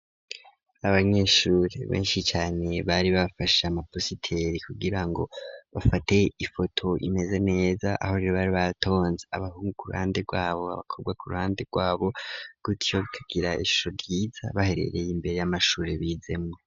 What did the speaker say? Abanyeshure benshi cane, bari bafashe amapositeri kugira ngo bafate ifoto imeze neza, aho rero bari batonze abahungu ku ruhande rwabo,, abakobwa ku ruhande rwabo, gutyo bikagira isura ryiza baherereye imbere y'amashure bizemwo.